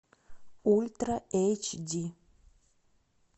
ультра эйч ди